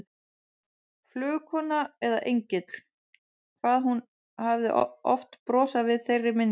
Flugkona eða engill, hvað hún hafði oft brosað við þeirri minningu.